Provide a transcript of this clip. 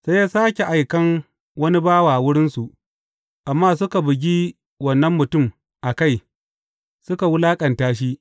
Sai ya sāke aikan wani bawa wurinsu, amma suka bugi wannan mutum a kai, suka wulaƙanta shi.